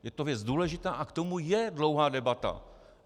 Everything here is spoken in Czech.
Je to věc důležitá a k tomu je dlouhá debata.